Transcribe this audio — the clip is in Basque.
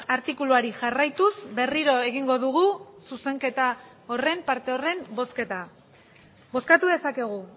artikuluari jarraituz berriro egingo dugu zuzenketa horren parte horren bozketa bozkatu dezakegu